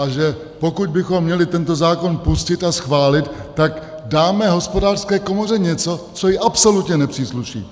A že pokud bychom měli tento zákon pustit a schválit, tak dáme Hospodářské komoře něco, co jí absolutně nepřísluší!